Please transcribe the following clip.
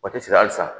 Waati sɔrɔ hali sisan